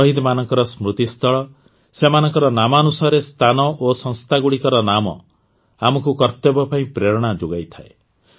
ଶହିଦମାନଙ୍କ ସ୍ମୃତିସ୍ଥଳ ସେମାନଙ୍କ ନାମାନୁସାରେ ସ୍ଥାନ ଓ ସଂସ୍ଥାଗୁଡ଼ିକର ନାମ ଆମକୁ କର୍ତ୍ତବ୍ୟ ପାଇଁ ପ୍ରେରଣା ଯୋଗାଇଥାଏ